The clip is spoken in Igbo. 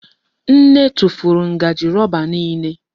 Nne tụfuru ngaji roba niile.